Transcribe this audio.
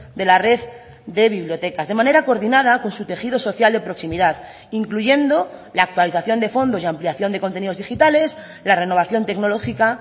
de la red de bibliotecas de manera coordinada con su tejido social de proximidad incluyendo la actualización de fondos y ampliación de contenidos digitales la renovación tecnológica